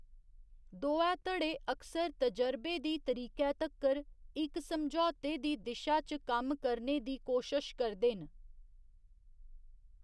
दोऐ धड़े अक्सर तजर्बे दी तरीकै तक्कर इक समझौते दी दिशा च कम्म करने दी कोशश करदे न।